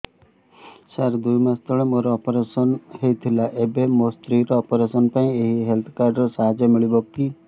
ସାର ଦୁଇ ମାସ ତଳରେ ମୋର ଅପେରସନ ହୈ ଥିଲା ଏବେ ମୋ ସ୍ତ୍ରୀ ର ଅପେରସନ ପାଇଁ ଏହି ହେଲ୍ଥ କାର୍ଡ ର ସାହାଯ୍ୟ ମିଳିବ କି